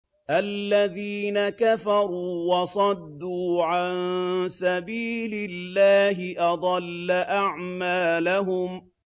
الَّذِينَ كَفَرُوا وَصَدُّوا عَن سَبِيلِ اللَّهِ أَضَلَّ أَعْمَالَهُمْ